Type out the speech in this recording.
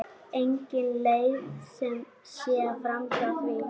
Engin leið sé framhjá því.